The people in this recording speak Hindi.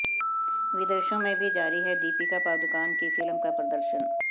विदेशों में भी जारी है दीपिका पादुकोण की फिल्म का प्रदर्शन